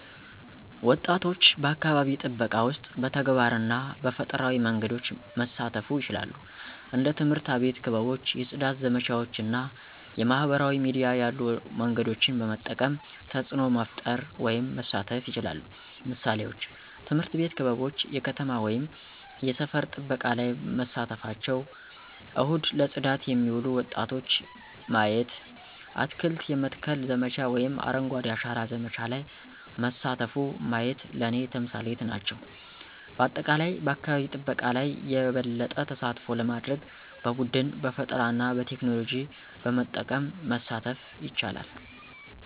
ወጣቶች በአካባቢ ጥበቃ ውስጥ በተግባር እና በፈጠራዊ መንገዶች መሳተፉ ይችላሉ። እንደ ትምህርት አቤት ክበቦች የፅዳት ዘመቻዎች እና የማህበራዊ ሚዲያ ያሉ መንገዶችን በመጠቀም ተፅዕኖ መፈጠር ወይም መሳተፍ ይችላሉ። ምሳሌዎች፦ ትምህርት ቤት ክበቦች የከተማ ወይም የሰፈር ጥበቃ ላይ መሳተፍቸው፣ እሁድ ለጽዳት የሚሉ ወጣቶች ማየቲ፣ አትክልት የመትከል ዘመቻ ወይም አረንጓዴ አሻራ ዘመቻ ለይ መሳተፉ ማየት ለኔ ተምሳሌት ናቸው። በአጠቃላይ በአካባቢ ጠበቃ ለይ የበለጠ ተሳትፎ ለማድርግ በቡድን፣ በፈጠራና በቴክኖሎጂ በመጠቀም መሳተፍ ይቻላሉ።